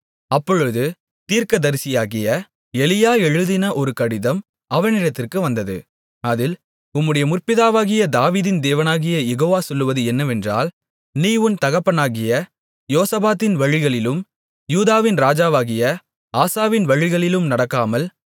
அப்பொழுது தீர்க்கதரிசியாகிய எலியா எழுதின ஒரு கடிதம் அவனிடத்திற்கு வந்தது அதில் உம்முடைய முற்பிதாவாகிய தாவீதின் தேவனாகிய யெகோவா சொல்வது என்னவென்றால் நீ உன் தகப்பனாகிய யோசபாத்தின் வழிகளிலும் யூதாவின் ராஜாவாகிய ஆசாவின் வழிகளிலும் நடக்காமல்